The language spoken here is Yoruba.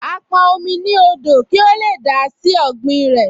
Á pọn omi ní odò kí ó lè dà á sí ọ̀gbìn rẹ̀